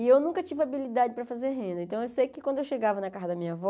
E eu nunca tive habilidade para fazer renda, então eu sei que quando eu chegava na casa da minha avó,